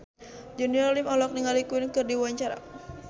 Junior Liem olohok ningali Queen keur diwawancara